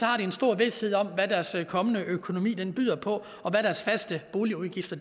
har de en stor vished om hvad deres kommende økonomi byder på og hvad deres faste boligudgifter